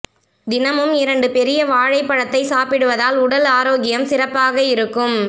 தினமும் இரண்டு பெரிய வாழைப்பழத்தை சாப்பிடுவதால் உடல் ஆரோக்கியம் சிறப்பாக இருக்கும்